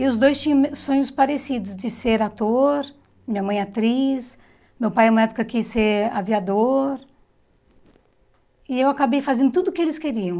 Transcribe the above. E os dois tinham me sonhos parecidos, de ser ator, minha mãe atriz, meu pai uma época quis ser aviador, e eu acabei fazendo tudo o que eles queriam.